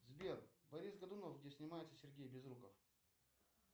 сбер борис годунов где снимается сергей безруков